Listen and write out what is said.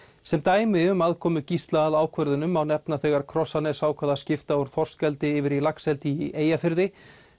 sem dæmi um aðkomu Gísla að ákvörðunum má nefna þegar Krossanes ákvað að skipta úr þorskeldi yfir í laxeldi í Eyjafirði